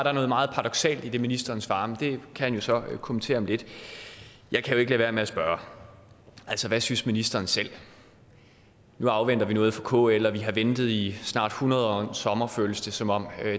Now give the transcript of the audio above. er noget meget paradoksalt i det ministeren svarer det kan han jo så kommentere om lidt jeg kan ikke lade være med at spørge hvad synes ministeren selv nu afventer vi noget fra kl og vi har ventet i snart hundrede år og en sommer føles det som om